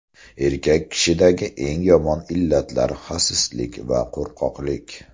Erkak kishidagi eng yomon illatlar xasislik va qo‘rqoqlik.